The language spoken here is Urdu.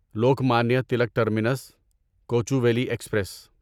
Lokmanya Tilak terminus Kochuveli express